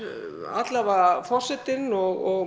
alla vega forsetinn og